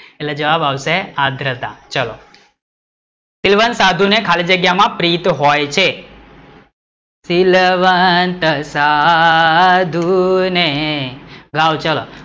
એટલે જવાબ આવશે આદ્રતા, ચાલો શીલવંત સાધુ ને ખાલી જગ્યા માં પ્રીત હોય છે શીલવંત સાધુ ને ગાઓ ચલો,